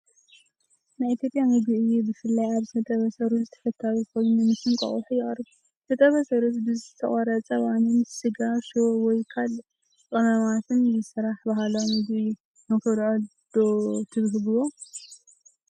ናይ ኢትዮጵያ ምግቢ እዩ። ብፍላይ ኣብ ዝተጠበሰ ሩዝ ተፈታዊ ኮይኑ ምስ እንቋቑሖ ይቐርብ። ዝተጠበሰ ሩዝ ብዝተቖርጸ ባኒን ስጋ ሽሮ ወይ ካልእ ቀመማትን ዝስራሕ ባህላዊ መግቢ እዩ። ንኽትበልዕዎ ዶ ትብህግዎ?